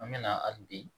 An mɛna hali bi